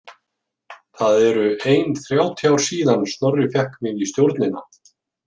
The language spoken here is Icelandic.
Það eru ein þrjátíu ár síðan Snorri fékk mig í stjórnina.